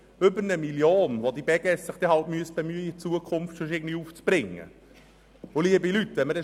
Es ginge immerhin um 1 Mio. Franken, um deren Aufbringung sich die Beges bemühen müsste.